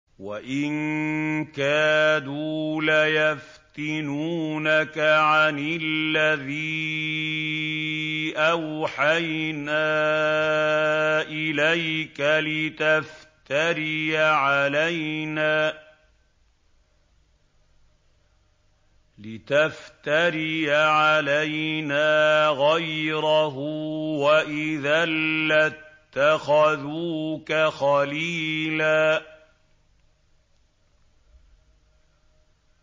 وَإِن كَادُوا لَيَفْتِنُونَكَ عَنِ الَّذِي أَوْحَيْنَا إِلَيْكَ لِتَفْتَرِيَ عَلَيْنَا غَيْرَهُ ۖ وَإِذًا لَّاتَّخَذُوكَ خَلِيلًا